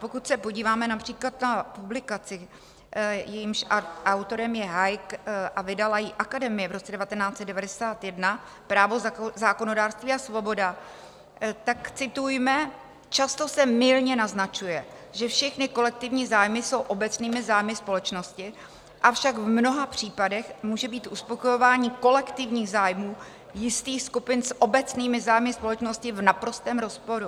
Pokud se podíváme například na publikaci, jejímž autorem je Hayek a vydala ji Academia v roce 1991, Právo, zákonodárství a svoboda, tak citujme: "Často se mylně naznačuje, že všechny kolektivní zájmy jsou obecnými zájmy společnosti, avšak v mnoha případech může být uspokojování kolektivních zájmů jistých skupin s obecnými zájmy společnosti v naprostém rozporu."